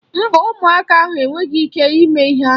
Mba, ụmụaka ahụ enweghị ịke ime ihe ahụ.